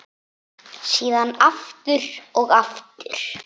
Síðan aftur og aftur.